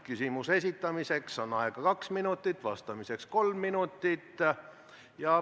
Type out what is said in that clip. Küsimuse esitamiseks on aega kaks minutit ja vastamiseks kolm minutit.